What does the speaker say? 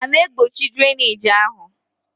A na-egbochi drainage ahụ?